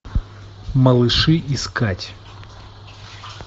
малыши искать